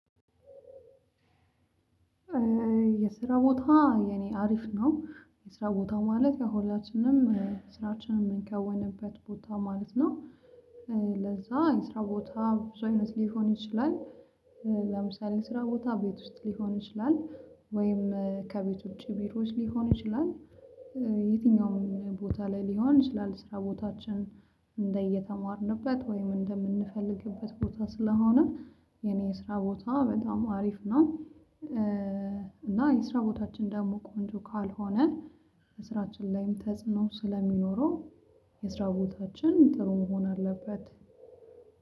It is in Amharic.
የስራ ቦታ የኔ አሪፍ ነው የስራ ቦታ ማለት ያሁላችንም ስራችንን የምንከወንበት ቦታ ማለት ነው። ለዛ የስራ ቦታ ብዙ አይነት ሊሆን ይችላል። ለምሳሌ ስራ ቦታ ቤት ውስጥ ሊሆን ይችላል ወይም ከቤት ውጭ ቢሮዎች ሊሆን ይችላል። የትኛውም ቦታ ላይ ሊሆን ይችላል ስራ ቦታችን እንደየተማርንበት ወይም እንደምንፈልግበት ቦታ ስለሆነ የኔ የስራ ቦታ በጣም አሪፍ ነው። እና የስራ ቦታችን ደግሞ ቆንጆ ካልሆነ በስራችን ላይም ተጽዕኖ ስለሚኖረው የስራ ቦታችን ጥሩ መሆን አለበት